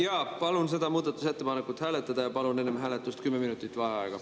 Jaa, palun seda muudatusettepanekut hääletada ja palun enne hääletust 10 minutit vaheaega.